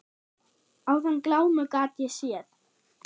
Áðan glámu gat ég séð.